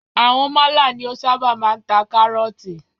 Àwọn málà ni o ṣábà máa ń ta kárọ̀tì.